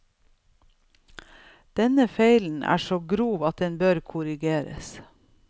Denne feilen er så grov at den bør korrigeres.